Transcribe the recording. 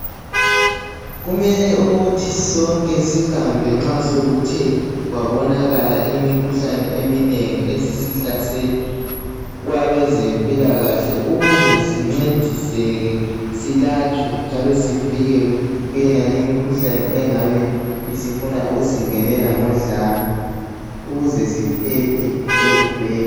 Kumele ukuthi sonke sihambe nxa sekuthe kwabonakala imikhuhlane eminengi esisihlasela kwabezempilakahle ukuze sincediseke silatshwe njalo sivikelwe kutonale imikhuhlane engabe isifuna ukusingenela ngodlame ukuze siphephe ekufeni.